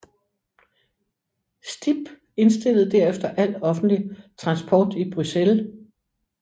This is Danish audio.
STIB indstillede derefter al offentlig transport i Bruxelles